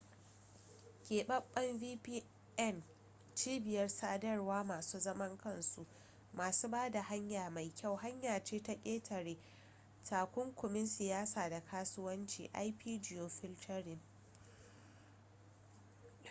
keɓaɓɓen vpn cibiyar sadarwar masu zaman kansu masu ba da hanya mai kyau hanya ce ta ƙetare takunkumin siyasa da kasuwancin ip-geofiltering